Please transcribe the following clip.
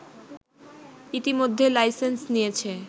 ইতোমধ্যে লাইসেন্স নিয়েছে